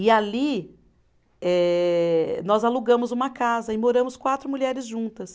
E ali eh, nós alugamos uma casa e moramos quatro mulheres juntas.